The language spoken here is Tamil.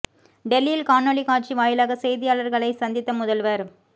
டெல்லியில் காணொளிக் காட்சி வாயிலாக செய்தியாளர்களை சந்தித்த முதல்வர்